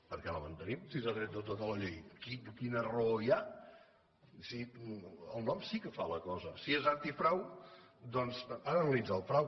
per què la mantenim si s’ha tret de tota la llei quina raó hi ha el nom sí que fa la cosa si és antifrau doncs ha d’analitzar el frau